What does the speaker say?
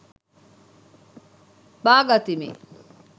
බාගතිමි.